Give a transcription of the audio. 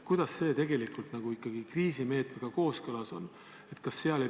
Kuidas see tegelikult ikkagi kriisimeetmega kooskõlas on?